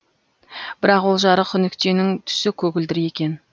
бірақ ол жарық нүктенің түсі көгілдір екен